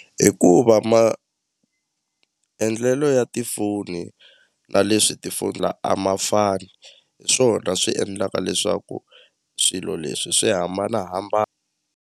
Hikuva maendlelo ya tifoni na leswi tifoni la a ma fani hi swona swi endlaka leswaku swilo leswi swi hambana .